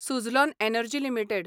Suzlon Energy limited